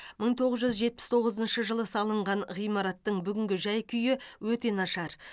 мың тоғыз жүз жетпіс тоғызыншы жылы салыған ғимараттың бүгінгі жай күйі өте нашар